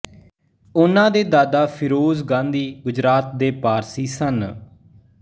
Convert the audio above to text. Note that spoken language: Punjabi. ਉਨ੍ਹਾਂ ਦੇ ਦਾਦਾ ਫਿਰੋਜ਼ ਗਾਂਧੀ ਗੁਜਰਾਤ ਦੇ ਪਾਰਸੀ ਸਨ